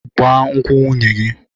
Gbaa nkwụ nwunye gị!